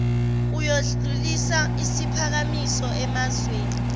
uyodlulisa isiphakamiso emazweni